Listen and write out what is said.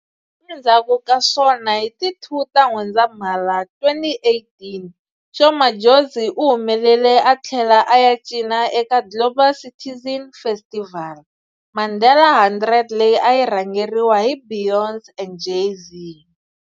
Endzhaku ka swona hi ti 2 ta N'wendzamhala, 2018, Sho Madjozi u humelele a thlela a ya cina eka Global Citizen Festival-Mandela 100 leyi a yi rhangeriwe hi Beyonce and Jay-Z.